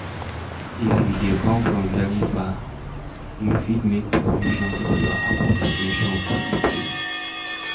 If you dey come from very far, you fit make provision for your accommdation for di place